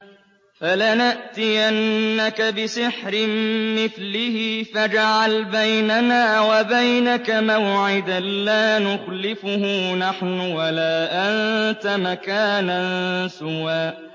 فَلَنَأْتِيَنَّكَ بِسِحْرٍ مِّثْلِهِ فَاجْعَلْ بَيْنَنَا وَبَيْنَكَ مَوْعِدًا لَّا نُخْلِفُهُ نَحْنُ وَلَا أَنتَ مَكَانًا سُوًى